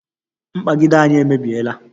mkpagide anyị emebiela